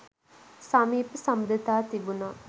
සමීප සබඳතා තිබුණා.